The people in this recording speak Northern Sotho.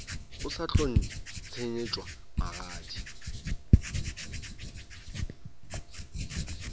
o sa tlo ntšhetšwa magadi